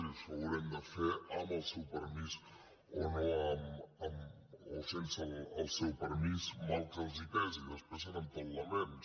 i això ho haurem de fer amb el seu permís o sense el seu permís mal que els pesi després seran tot laments